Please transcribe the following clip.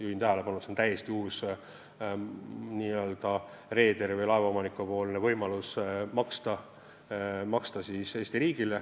Juhin tähelepanu, et see on reederile või laeva omanikule täiesti uus võimalus.